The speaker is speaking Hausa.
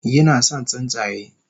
Yinason tsuntsaye